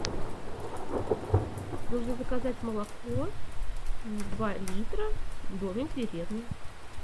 нужно заказать молоко два литра домик в деревне